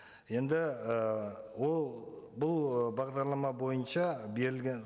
енді і ол бұл ы бағдарлама бойынша берілген